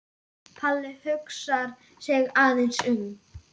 Palli hugsar sig aðeins um.